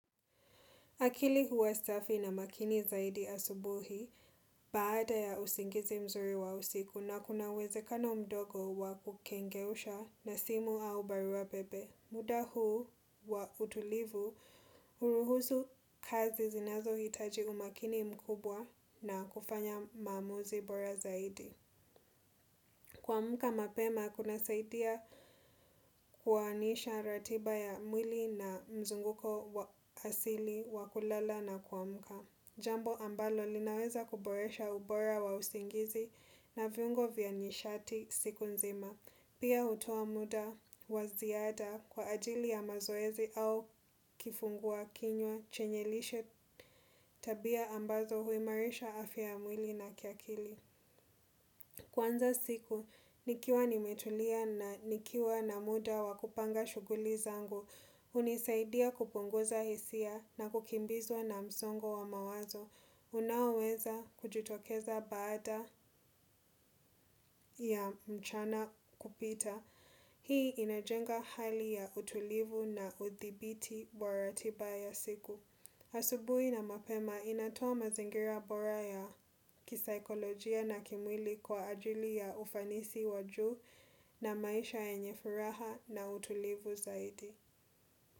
Akili huwa staffi na makini zaidi asubuhi baada ya usingizi mzuri wa usiku na kunawezekano mdogo wa kukengeusha na simu au bariwa bebe. Muda huu wa utulivu huruhusu kazi zinazo hitaji umakini mkubwa na kufanya maamuzi bora zaidi. Kwa muka mapema kuna saidia kuwaanisha ratiba ya mwili na mzunguko asili wakulala na kwa muka. Jambo ambalo linaweza kuboresha ubora wa usingizi na viungo vya nyishati siku nzima. Pia hutoa muda waziada kwa ajili ya mazoezi au kifungua kinywa chenyelishe tabia ambazo huimarisha afia mwili na kiakili. Kwanza siku, nikiwa nimetulia na nikiwa na muda wakupanga shuguli zangu, unisaidia kupunguza hisia na kukimbizwa na msongo wa mawazo. Unaoweza kujitokeza baada ya mchana kupita Hii inajenga hali ya utulivu na uthibiti boratiba ya siku asubui na mapema inatoa mazingira boraya kisaikolojia na kimwili kwa ajili ya ufanisi waju na maisha yenye furaha na utulivu zaidi.